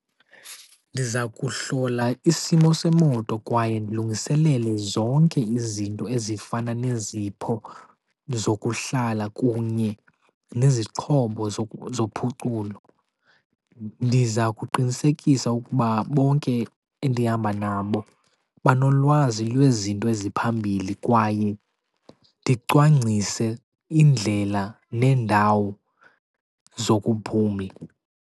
Ndiza kuhlola isimo semoto kwaye ndilungiselele zonke izinto ezifana nezipho zokuhlala kunye nezixhobo zophuculo. Ndiza kuqinisekisa ukuba bonke endihamba nabo banolwazi lwezinto eziphambili kwaye ndicwangcise indlela neendawo zokuphumla.